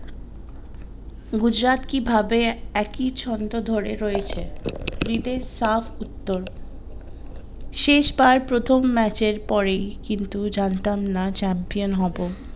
গুজরাট কিভাবে একই ছন্দ ধরে রয়েছে রীদের সাফ উত্তর শেষ বার প্রথম ম্যাচের পরেই কিন্তুই জানতাম না champion হবো।